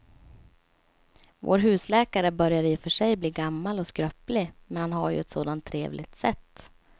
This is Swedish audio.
Vår husläkare börjar i och för sig bli gammal och skröplig, men han har ju ett sådant trevligt sätt!